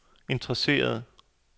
interesserede